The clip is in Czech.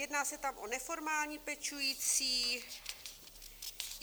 Jedná se tam o neformální pečující.